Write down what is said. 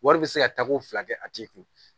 Wari bɛ se ka tako fila kɛ a t'i kun